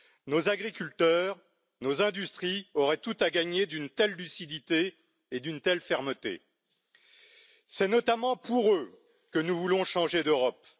Nos agriculteurs et nos industries auraient tout à gagner d'une telle lucidité et d'une telle fermeté. C'est notamment pour eux que nous voulons changer d'Europe.